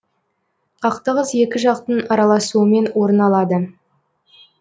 қақтығыс екі жақтың араласуымен орын алады